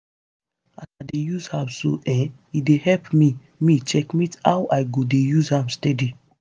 as i dey use app so[um]e dey help me me checkmate how i go dey use am steady